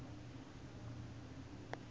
mbhojana